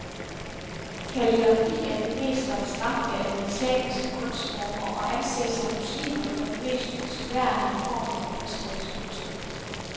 Kalligrafi er den mest abstrakte af de islamiske kunstformer og anses af muslimer for den mest ønskværdige form for kunstnerisk udtryk.